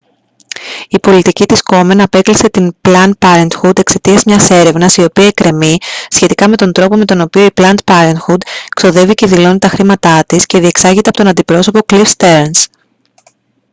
η πολιτική της κόμεν απέκλεισε την πλαντ πάρεντχουντ εξαιτίας μιας έρευνας η οποία εκκρεμεί σχετικά με τον τρόπο με τον οποίο η πλαντ πάρεντχουντ ξοδεύει και δηλώνει τα χρήματά της και διεξάγεται από τον αντιπρόσωπο κλιφ στερνς